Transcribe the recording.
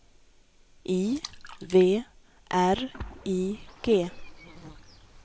I V R I G